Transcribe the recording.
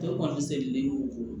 Bɛɛ kɔni sɛ len y'o ko